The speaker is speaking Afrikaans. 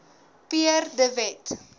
pierre de wet